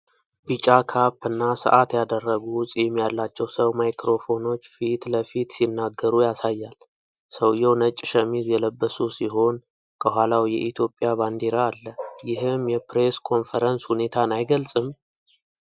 ቢጫ ካፕ እና ሰዓት ያደረጉ፣ ፂም ያላቸው ሰው ማይክሮፎኖች ፊት ለፊት ሲናገሩ ያሳያል። ሰውየው ነጭ ሸሚዝ የለበሱ ሲሆን፣ ከኋላው የኢትዮጵያ ባንዲራ አለ፤ ይህም የፕሬስ ኮንፈረንስ ሁኔታን አይገልጽም?